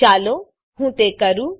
ચાલો હું તે કરું